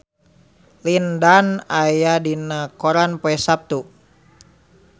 Lin Dan aya dina koran poe Saptu